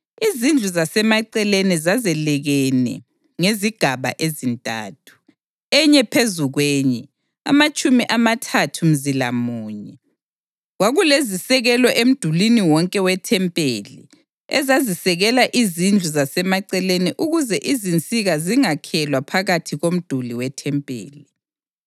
Izindlu zasemaceleni zazelekene ngezigaba ezintathu, enye phezu kwenye, amatshumi amathathu mzila munye. Kwakulezisekelo emdulini wonke wethempeli ezazisekela izindlu zasemaceleni ukuze izinsika zingakhelwa phakathi komduli wethempeli.